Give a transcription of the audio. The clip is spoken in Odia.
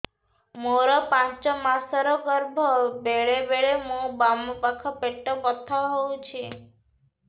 ମୋର ପାଞ୍ଚ ମାସ ର ଗର୍ଭ ବେଳେ ବେଳେ ମୋ ବାମ ପାଖ ପେଟ ବଥା ହଉଛି